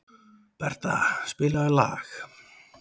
Bertha, spilaðu lag.